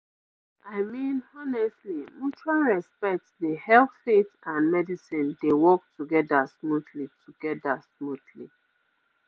i mean honestly mutual respect dey help faith and medicine dey work together smoothly together smoothly